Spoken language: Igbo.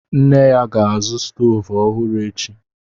Nna ya ga-azụ stovu ọhụrụ echi.